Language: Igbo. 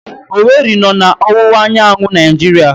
Owere nọ na ọwụwa anyanwụ Naijiria